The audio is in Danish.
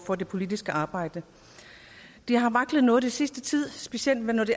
for det politiske arbejde det har vaklet noget den sidste tid specielt når det